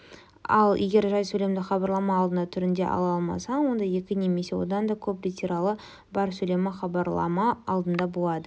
ал егер жай сөйлемді хабарлама алдында түрінде ала-алмасаң онда екі немесе одан да көп литералы бар сөйлем хабарлама алдында болады